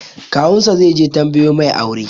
Kawun sa zai je tambayo mai aure